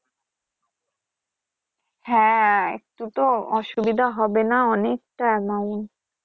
হ্যা একটু তো অসুবিধা হবে না অনেক টা